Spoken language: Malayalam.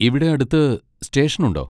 ഇവിടെ അടുത്ത് സ്റ്റേഷൻ ഉണ്ടോ?